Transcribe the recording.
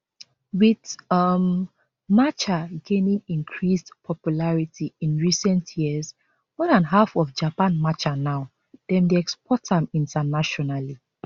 wit um matcha gaining increased popularity in recent years more dan half of japan matcha now dem dey export am internationally